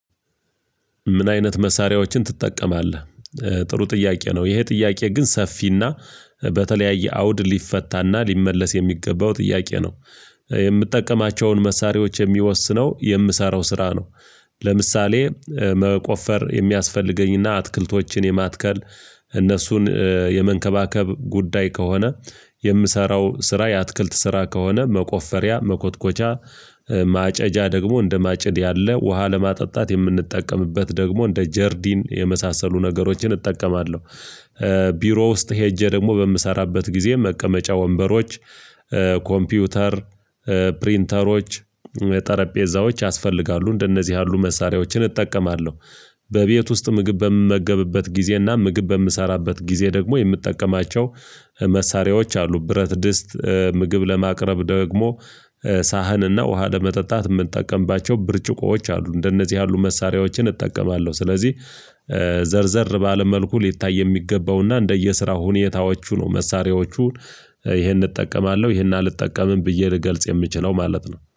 ምን አይነት መሳሪያዎችን ትጠቀማለህ? ኧ ጥሩ ጥያቄ ነው ይሄ ጥያቄ ግን ሰፊና በተለያየ አውድ ሊፈታና ሊመለስ የሚገባው ጥያቄ ነው ኧ የምጠቀማቸውን መሳሪያዎች የሚወስነው የምሰራው ስራ ነው። ለምሳሌ መቆፈር የሚያስፈልገኝና አትክልቶችን የማትከል እነሱን የመንከባከብ ጉዳይ ከሆነ የምሰራው ስራ የአትክልት ስራ ከሆነ መቆፈሪያ መኮትኮቻ ማጨጃ ደግሞ እንደ ማጭድ ያለ ውሃ ለማጠጣት የምንጠቀምበት ደግሞ እንደ ጀርዲን የመሳሰሉ ነገሮችን እጠቀማለሁ። ቢሮ ውስጥ ሄጄ ደግሞ በምሰራበት ጊዜ መቀመጫ ወንበሮች ኧ ኮምፒውተር ፕሪንተሮች ጠረጴዛዎች ያስፈልጋሉ እንደነዚህ ያሉ መሳሪያዎችን እጠቀማለሁ። በቤት ውስጥ ምግብ በምመገብበት ጊዜና ምግብ በምሰራበት ጊዜ ደግሞ የምትጠቀማቸው መሳሪያዎች አሉ ብረት ድስት ኧ ምግብ ለማቅረብ ደግሞ ሳህንና ውሃ ለመጠጣት የምንጠቀምባቸው ብርጭቆዎች አሉ እንደነዚህ ያሉ መሳሪያዎችን እጠቀማለሁ። ስለዚህ ኧ ዘር ዘር ባለ መልኩ ሊታይ የሚገባውና እንደየስራው ሁኔታዎቹ ነው። መሳሪያዎቹን ኧ ይሄን እጠቀማለሁ ይሄን አልጠቀምም ብዬ ልገልጽ የምችለው ማለት ነው